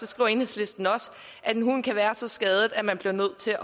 skriver enhedslisten også at en hund kan være så skadet at man bliver nødt til